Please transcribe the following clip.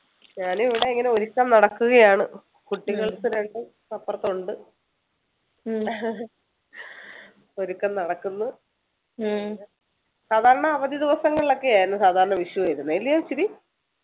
ഞാനിവിടെ ഇങ്ങനെ ഒരുക്കം നടക്കുകയാണ് കുട്ടികൾ രണ്ടും അപ്പർത്തുണ്ട് ഒരുക്കം നടക്കുന്നു സാധാരണ അവധി ദിവസങ്ങളിലൊക്കെ ആയിരുന്നു സാധാരണ വിഷു വരുന്നേ അല്ല്യോ